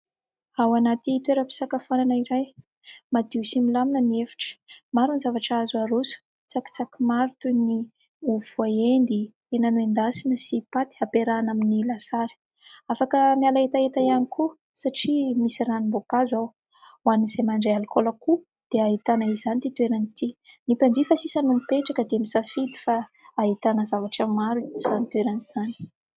Ao anaty toeram-pisakafoana iray : madio sy milamina ny efitra. Maro ny zavatra azo aroso, tsakitsaky maro toy ny : ovy voaendy, hena nendasina sy paty, hampiarahana amin'ny lasary ; afaka miala hetaheta ihany koa satria misy ranom-boankazo ao, ho an'izay mandray alikaola koa dia ahitana izany ity toerana ity ; ny mpanjifa sisa no mipetraka dia misafidy, fa ahitana zavatra maro izany toerana izany.